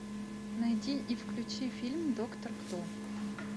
найди и включи фильм доктор кто